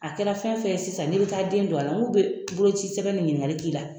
A kɛra fɛn fɛn ye sisan n'i bɛ taa den don a la n k'u bɛ bolocisɛbɛn de ɲininkali k'i la